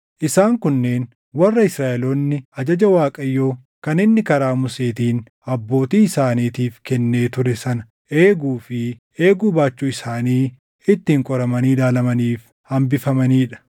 Isaan kunneen warra Israaʼeloonni ajaja Waaqayyoo kan inni karaa Museetiin abbootii isaaniif kennee ture sana eeguu fi eeguu baachuu isaanii ittiin qoramanii ilaalamaniif hambifamanii dha.